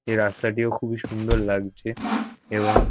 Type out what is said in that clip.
এই রাস্তাটিও খুবি সুন্দর লাগছে এবং--